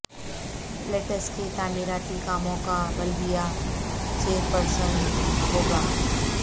let's کے تعمیراتی کاموں کا بلدیہ چیر پرسن بوگہ